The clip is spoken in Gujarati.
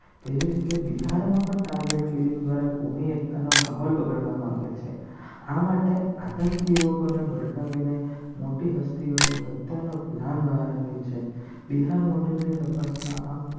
કેવી રીતે બિહારમાં પણ ટાર્ગેટ કિલિંગ દ્વારા ભૂમિ એકતાનો માહોલ બગાડવા માંગે છે. આ માટે આતંકીઓને ભડકાવીને મોટી હસ્તીઓની હત્યાનો પ્લાન બહાર આવ્યો છે. બિહાર મોડેલ ની તપાસમાં